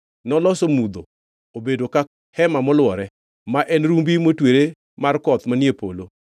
Noloso mudho obedo ka hema molwore, ma en rumbi motwere mar koth manie polo.